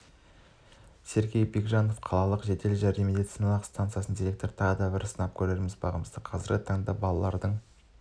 сергей бекежанов қалалық жедел жәрдем медициналық стансасының директоры тағы бір сынап көреміз бағымызды қазіргі таңда балалардың